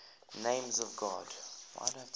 names of god